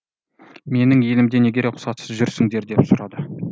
менің елімде неге рұқсатсыз жүрсіңдер деп сұрады